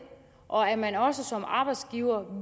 og er man også som arbejdsgiver